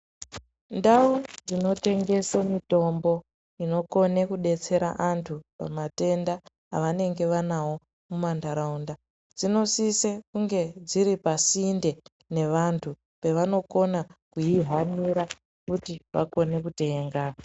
Ndau dzinotengesa mitombo inokone kudetsera vantu antu pamatenda avanenge vanawo muntaraunda dzinosise kunge dziri pasinde pevanokona kuihanira kuti vakone kutenga.